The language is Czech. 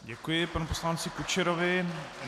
Děkuji panu poslanci Kučerovi.